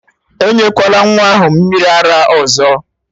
enyekwala nwa ahụ mmiri ara ọzọ!